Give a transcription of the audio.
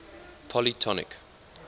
polytonic